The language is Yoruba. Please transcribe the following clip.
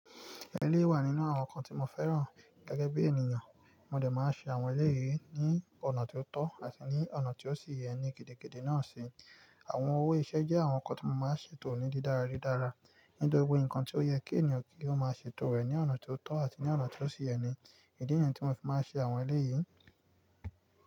Eléyìí wà nínú àwọn nǹkan tí mo fẹ́ràn gẹ́gẹ́ bí ènìyàn. Mo dẹ̀ máa ṣe àwọn elé yìí ní ọ̀nà tí ó tọ́, àti ní ọ̀nà tí ó sì yẹ ní gìdídídí náà si. Àwọn owó iṣẹ́ jẹ́ àwọn nǹkan tí mo máa ń ṣètò ní dídára dídára, nínú gbogbo nǹkan tí ó yẹ kí ènìyàn kí ó máa ṣètò rẹ̀ ní ọ̀nà tí ó tọ́ àti ní ọ̀nà tí ó sì yẹ ni. Ìdí ni yen tí mo fi máa ń ṣe àwọn elé yìí.